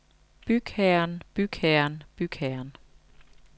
bygherren bygherren bygherren